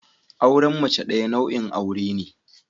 Auren mace daya nau'in aure ne.